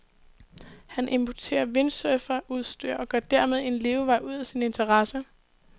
Han importerer windsurferudstyr, og gør dermed en levevej ud af sin interesse.